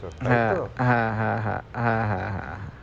হ্যাঁ হ্যাঁ হ্যাঁ হ্যাঁ হ্যাঁ হ্যাঁ হ্যাঁ